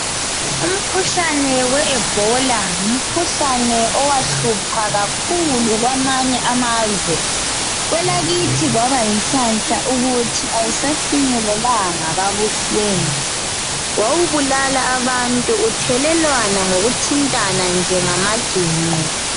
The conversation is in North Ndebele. ukhuhlane we Ebola ngumkhuhlane owahlupha kakhulu kwamanye amazwe kwelakithi kwaba yinhlahla ukuthi awusafinyelelanga kabuhlungu wawubulala abantu uthelelwana ngokuthintana nje ngamaginqo